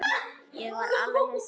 Ég var alveg hissa.